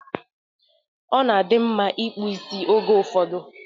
Ọ na adị mma ịkpụ isi oge ụfọdụ